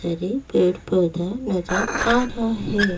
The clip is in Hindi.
हरे पेड़ पौधा नजर आ रहा है।